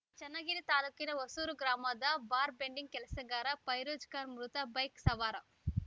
ಚನ್ನಗಿರಿ ತಾಲ್ಕು ಹೊಸೂರು ಗ್ರಾಮದ bar bending ಕೆಲಸಗಾರ ಫೈರೋಜ್‌ ಖಾನ್‌ ಮೃತ ಬೈಕ್‌ ಸವಾರ